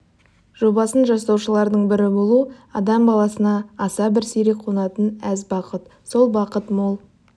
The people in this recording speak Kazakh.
жобасын жасаушылардың бірі болу адам баласына аса бір сирек қонатын әз бақыт сол бақ мол